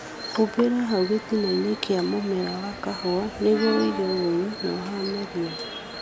Humbĩra hau gĩtinainĩ kĩa mũmera wa kahũa nĩguo ũige ũgunyu na ũhahame ria